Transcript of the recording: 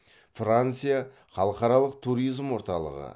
франция халықаралық туризм орталығы